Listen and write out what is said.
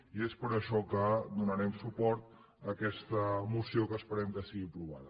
i és per això que donarem suport a aquesta moció que esperem que sigui aprovada